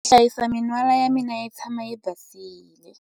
Ndzi hlayisa min'wala ya mina yi tshama yi basile.